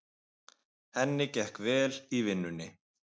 Henni gekk vel í vinnunni.